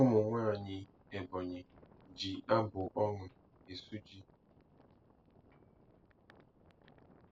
Ụmụnwaanyị Ebonyi ji abụ ọñụ esu ji.